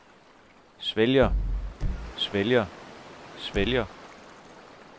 svælger svælger svælger